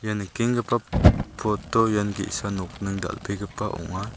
ia nikengipa poto ian ge·sa nokning dal·begipa ong·a.